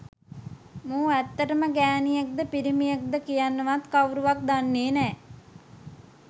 මූ ඇත්තටම ගෑනියෙක්ද පිරිමියෙක්ද කියන්නවත් කවුරුවත් දන්නෙ නෑ